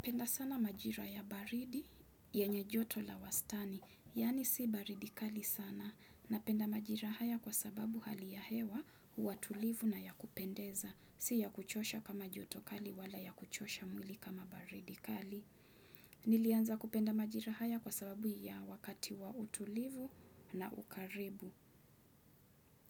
Napenda sana majira ya baridi yenye joto la wastani, yaani si baridi kali sana, napenda majira haya kwa sababu hali ya hewa, huwa tulivu na ya kupendeza, si ya kuchosha kama joto kali wala ya kuchosha mwili kama baridi kali. Nilianza kupenda majira haya kwa sababu ya wakati wa utulivu na ukaribu.